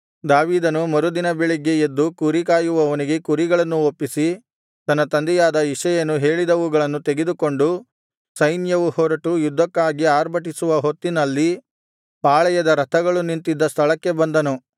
ದಾವೀದನು ಮರುದಿನ ಬೆಳಿಗ್ಗೆ ಎದ್ದು ಕುರಿ ಕಾಯುವವನಿಗೆ ಕುರಿಗಳನ್ನು ಒಪ್ಪಿಸಿ ತನ್ನ ತಂದೆಯಾದ ಇಷಯನು ಹೇಳಿದವುಗಳನ್ನು ತೆಗೆದುಕೊಂಡು ಸೈನ್ಯವು ಹೊರಟು ಯುದ್ಧಕ್ಕಾಗಿ ಅರ್ಭಟಿಸುವ ಹೊತ್ತಿನಲ್ಲಿ ಪಾಳೆಯದ ರಥಗಳು ನಿಂತಿದ್ದ ಸ್ಥಳಕ್ಕೆ ಬಂದನು